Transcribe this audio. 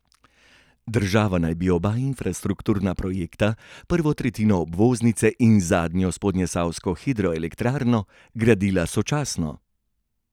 Država naj bi oba infrastrukturna projekta, prvo tretjino obvoznice in zadnjo spodnjesavsko hidroelektrarno, gradila sočasno.